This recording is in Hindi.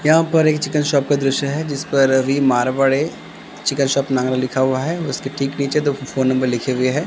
यहां पर एक चिकन शॉप का दृश्य है जिस पर अभी मारवाड़े चिकन शॉप नागरा लिखा हुआ है उसके ठीक नीचे दो कि फोन नंबर लिखे हुए है।